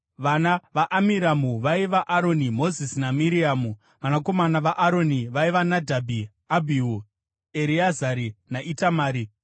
Vana vaAmiramu vaiva: Aroni, Mozisi naMiriamu. Vanakomana vaAroni vaiva: Nadhabhi, Abhihu, Ereazari naItamari.